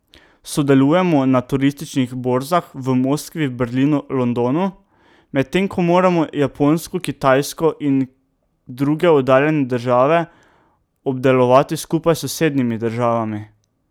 Sodelujemo na turističnih borzah v Moskvi, Berlinu, Londonu, medtem ko moramo Japonsko, Kitajsko in druge oddaljene države obdelovati skupaj s sosednjimi državami.